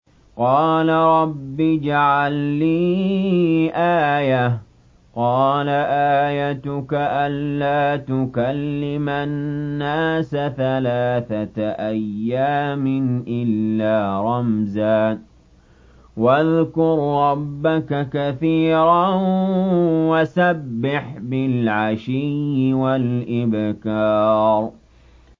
قَالَ رَبِّ اجْعَل لِّي آيَةً ۖ قَالَ آيَتُكَ أَلَّا تُكَلِّمَ النَّاسَ ثَلَاثَةَ أَيَّامٍ إِلَّا رَمْزًا ۗ وَاذْكُر رَّبَّكَ كَثِيرًا وَسَبِّحْ بِالْعَشِيِّ وَالْإِبْكَارِ